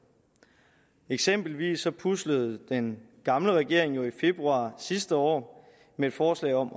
eksempelvis puslede den gamle regering jo i februar sidste år med et forslag om